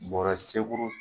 Bɔrɛ